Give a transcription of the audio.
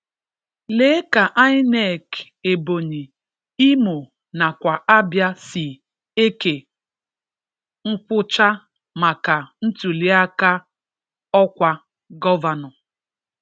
Lee ka INEC Ebọnyi, Imo nakwa Abịa si eke nkwụcha maka ntụlịaka ọkwa gọvanọ